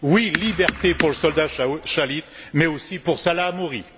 Oui, liberté pour le soldat Shalit, mais aussi pour Salah Hamouri!